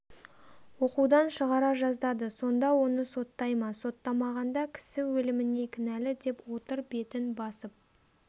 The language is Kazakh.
оқудан шығара жаздады сонда оны соттай ма соттамағанда кісі өліміне кінәлі деп отыр бетін басып